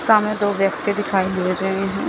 सामने दो व्यक्ति दिखाई दे रहे हैं।